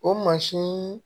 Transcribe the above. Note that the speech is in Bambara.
O mansin